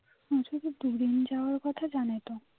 যাওয়ার কথা জানে তো